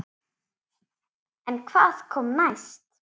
En hvað kom næst?